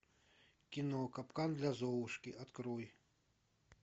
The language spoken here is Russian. кино капкан для золушки открой